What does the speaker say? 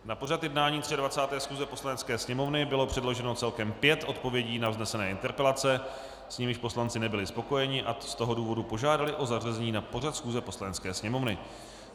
Na pořad jednání 23. schůze Poslanecké sněmovny bylo předloženo celkem pět odpovědí na vznesené interpelace, s nimiž poslanci nebyli spokojeni, a z toho důvodu požádali o zařazení na pořad schůze Poslanecké sněmovny.